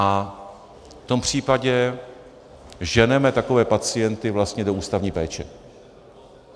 A v tom případě ženeme takové pacienty vlastně do ústavní péče.